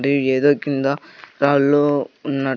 the ఏదో కింద రాళ్లు ఉన్నట్టు--